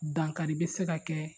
Dankari bɛ se ka kɛ